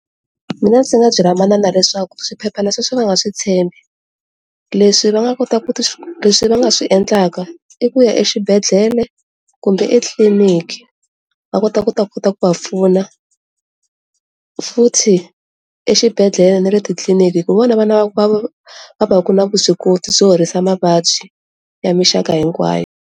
Mina ndzi nga byela manana leswaku swiphephana sweswi va nga swi tshembi leswi va nga kota ku ti, leswi va nga swi endlaka i ku ya exibedhlele kumbe etitliliniki va kota ku ta kota ku va pfuna, futhi exibedhlele na letitliliniki hi vona vana va va va ku na vuswikoti byo horisa mavabyi ya mixaka hinkwayo.